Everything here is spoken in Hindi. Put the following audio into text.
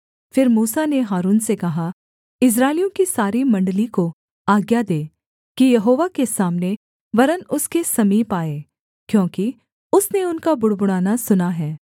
फिर मूसा ने हारून से कहा इस्राएलियों की सारी मण्डली को आज्ञा दे कि यहोवा के सामने वरन् उसके समीप आए क्योंकि उसने उनका बुड़बुड़ाना सुना है